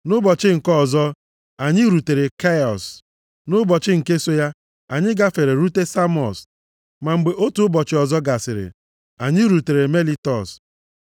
Nʼụbọchị nke ọzọ ya, anyị rutere Kiọs, nʼụbọchị nke so ya, anyị gafere rute Samọs. Ma mgbe otu ụbọchị ọzọ gasịrị, anyị rutere Melitọs.